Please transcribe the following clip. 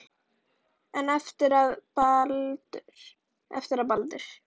En eftir að Baldur.